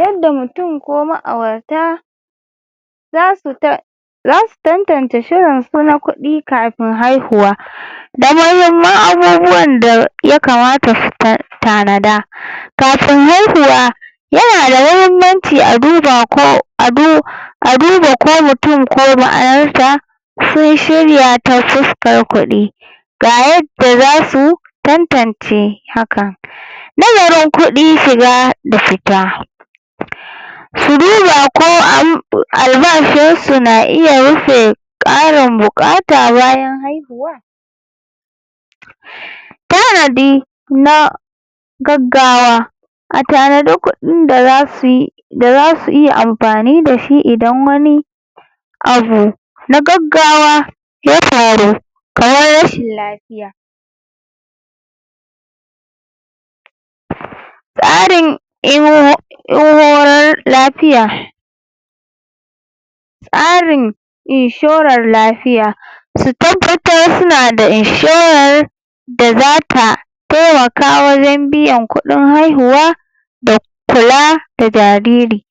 Yanda mutum ko ma'aurata zasu zasu tantance shirin su na kuɗi kapin haihuwa da mmuhimmman abubuwan da ya kamata su um tanada kafin haihuwa yana da mahimmanci a duba ko um a duba ko mutum ko sun shirya ta fuskar kuɗi ga yadda zasu tantance hakan nazarin kudi shiga da fita su duba ko um albashin su na iya rufe ƙarin buƙata bayan haihuwa tanadi na gaggawa a tanadi kuɗin da zasu yi da zasu iya ampani da shi idan wani abu na gaggawa ya faru kamar rashin lapiya tsarin lapiya tsarin inshorar lafiya su tabbatar suna da inshorar da zata temakawa wajen biyan kuɗin haihuwa da kula da jariri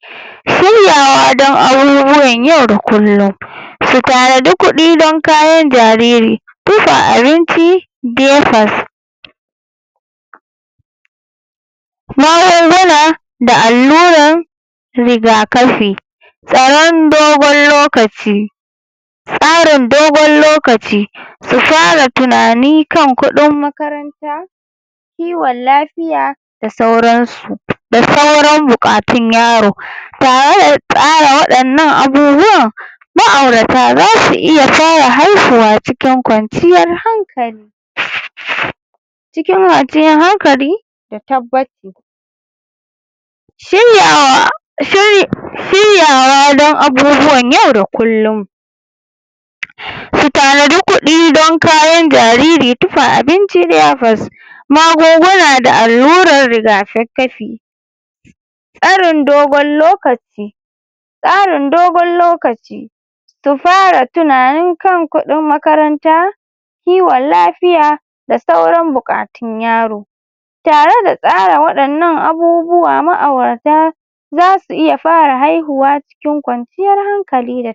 shiryawa don abubuwan yau da kullum su tanadi kuɗi don kayan jariri [um[ abinci um magunguna da allurar rigakafi tsaron dogon lokaci tsarin dogon lokaci su fara tunani kan kuɗin makaranta kiwon lafiya da sauransu da sauran buƙatun yaro tare da tsara waɗannan abubuwan ma'aurata zasu iya fara haihuwa cikin kwanciyar hankali cikin hankali da tabbaci shiryawa um shiryawa don abubuwan yau da kulllum su tanadi kuɗi don kayan jariri tufa abinci magunguna da allurar rigakakafi tsarn dogon lokaci tsarin dogon lokaci su fara tunanin kan kuɗin makaranta kiwon lafiya da sauran bukatun yaro tare da tsara waɗannan abubuwa ma'aurata zasu iya fara haihuwa cikin kwanciyar hankali da